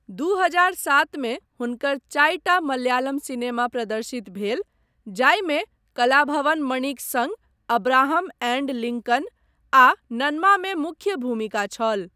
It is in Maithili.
दू हजार सात मे हुनकर चारिटा मलयालम सिनेमा प्रदर्शित भेल, जाहिमे कलाभवन मणिक सङ्ग अब्राहम एंड लिंकन आ नन्मा मे मुख्य भूमिका छल।